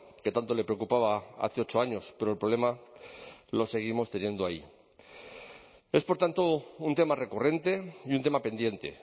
que tanto le preocupaba hace ocho años pero el problema lo seguimos teniendo ahí es por tanto un tema recurrente y un tema pendiente